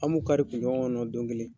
An m'u kari kunɲɔgɔn kɔnɔ don kelen.